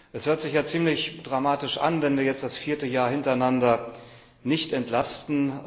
Es hört sich ja ziemlich dramatisch an, wenn wir jetzt das vierte Jahr hintereinander nicht entlasten.